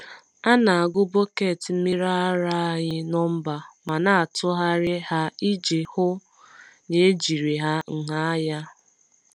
A na-agụ bọket mmiri ara anyị nọmba ma na-atụgharị ha iji hụ na ejiri ha nha anya.